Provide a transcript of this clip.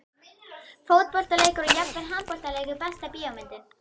Fótboltaleikir og jafnvel handboltaleikir Besta bíómyndin?